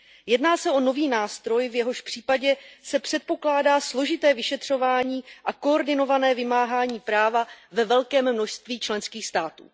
Jedná se o nový nástroj, v jehož případě se předpokládá složité vyšetřování a koordinované vymáhání práva ve velkém množství členských států.